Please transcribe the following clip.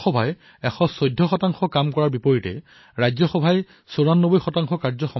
লোকসভাত ১১৪ কাম হোৱাৰ লগতে ৰাজ্যসভাত ৯৪ কাম হৈছে